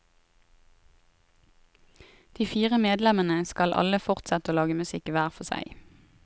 De fire medlemmene skal alle fortsette å lage musikk hver for seg.